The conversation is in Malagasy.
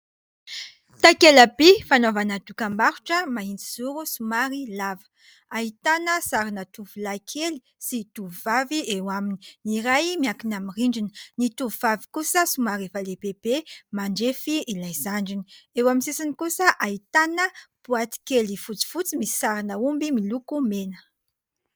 Takelaka fanaovana dokam-barotra mahitsy zoro somary lava. Ahitana sarina tovolahy kely sy tovovavy eo aminy : ny iray miakina amin'ny rindrina, ny tovovavy kosa somary efa lehibebe mandrefy ilay zandriny, eo amin'ny sisiny kosa ahitana boaty kely fotsifotsy misy sarina omby miloko mena.